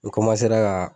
N ka